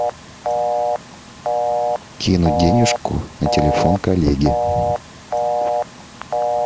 кинуть денежку на телефон коллеги